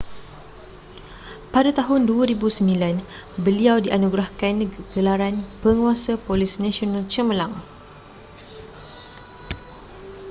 pada tahun 2009 beliau dianugerahkan gelaran penguasa polis nasional cemerlang